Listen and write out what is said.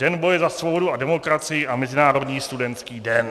Den boje za svobodu a demokracii a Mezinárodní studentský den.